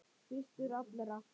Fyrstur allra.